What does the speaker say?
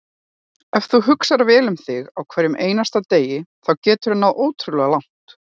Ef þú hugsar vel um þig á hverjum einasta degi þá geturðu náð ótrúlega langt.